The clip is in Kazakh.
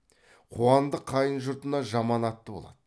қуандық қайын жұртына жаман атты болады